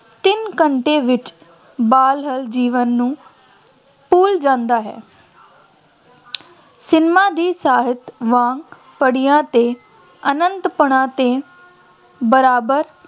ਤਿੰਨ ਘੰਟੇ ਵਿੱਚ ਬਾਹਰਲੇ ਜੀਵਨ ਨੂੰ ਭੁੱਲ ਜਾਂਦਾ ਹੈ ਸਿਨੇਮਾ ਦੀ ਸਾਹਿਤ ਵਾਂਗ ਅਤੇ ਬਰਾਬਰ